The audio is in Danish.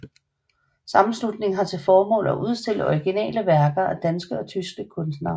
Sammenslutningen har til formål at udstille originale værker af danske og tyske kunstnere